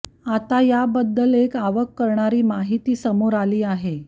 आता याबद्दल एक अवाक करणारी माहिती समोर आली आहे